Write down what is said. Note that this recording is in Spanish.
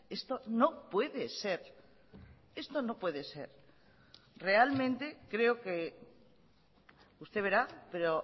esto no puede ser esto no puede ser realmente creo que usted verá pero